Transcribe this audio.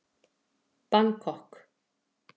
Bangkok